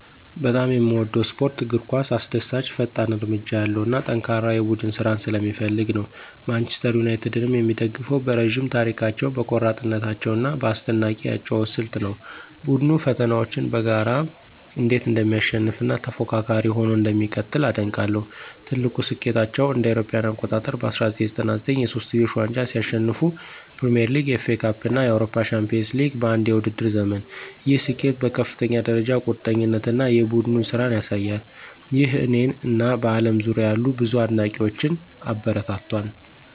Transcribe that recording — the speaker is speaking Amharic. በጣም የምወደው ስፖርት እግር ኳስ አስደሳች፣ ፈጣን እርምጃ ያለው እና ጠንካራ የቡድን ስራን ስለሚፈልግ ነው። ማንቸስተር ዩናይትድን የምደግፈው በረዥም ታሪካቸው፣ በቆራጥነታቸው እና በአስደናቂ የአጨዋወት ስልት ነው። ቡድኑ ፈተናዎችን በጋራ እንዴት እንደሚያሸንፍ እና ተፎካካሪ ሆኖ እንደሚቀጥል አደንቃለሁ። ትልቁ ስኬታቸው እ.ኤ.አ. በ1999 የሶስትዮሽ ዋንጫን ሲያሸንፉ ፕሪሚየር ሊግ፣ ኤፍኤ ካፕ እና የአውሮፓ ቻምፒዮንስ ሊግ በአንድ የውድድር ዘመን፣ ይህ ስኬት በከፍተኛ ደረጃ ቁርጠኝነት እና የቡድን ስራን ያሳያል። ይህ እኔን እና በአለም ዙሪያ ያሉ ብዙ አድናቂዎችን አበረታቷል